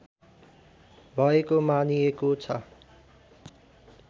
भएको मानिएको छ